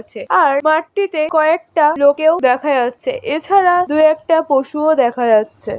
আর মাঠটিতে কয়েকটা লোকেও দেখা যাচ্ছে এছাড়া দু একটা পশুও দেখা যাচ্ছে।